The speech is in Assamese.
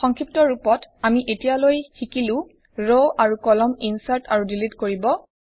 সংক্ষিপ্ত ৰূপত আমি এতিয়ালৈ শিকিলোৰ আৰু কলাম ইনচাৰ্ট আৰু ডিলিট কৰিব